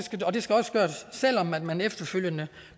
gøres selv om man man efterfølgende